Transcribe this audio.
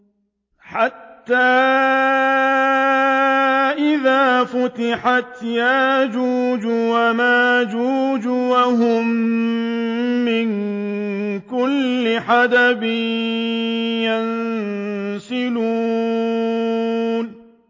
حَتَّىٰ إِذَا فُتِحَتْ يَأْجُوجُ وَمَأْجُوجُ وَهُم مِّن كُلِّ حَدَبٍ يَنسِلُونَ